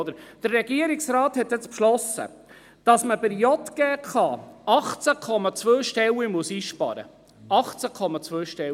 Der Regierungsrat hat beschlossen, dass man bei der JGK 18,2 Stellen einsparen muss.